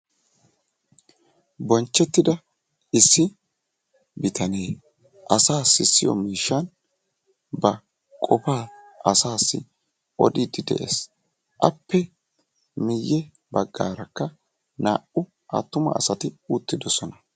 bonchetida bitane issoy cengurssa xoqetiya miishani ba qofa assayo odidi de"eesi a miyanikka yaarane haara na"u assati uttidossona.